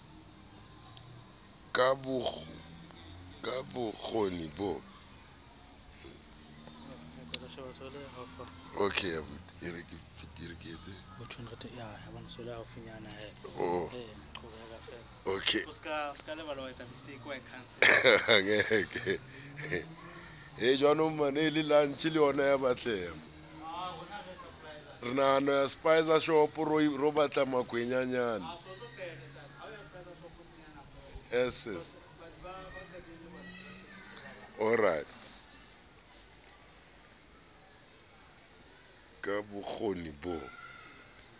ka b o kgoni bo